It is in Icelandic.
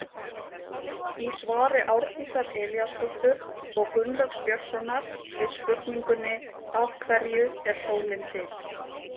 Í svari Árdísar Elíasdóttur og Gunnlaugs Björnssonar við spurningunni Af hverju er sólin til?